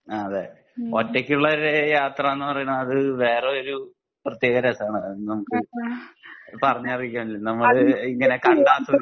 ആഹ് അതെ ഒറ്റക്കുള്ള ഒരു യാത്രാന്ന് പറയുന്നത് അത് വേറെ ഒരു പ്രത്യേക രസം ആണ് അത് പറഞ്ഞറിയിക്കാൻ പറ്റില്ല നമ്മൾ ഇങ്ങനെ കണ്ട് ആസ്വദിക്കാൻ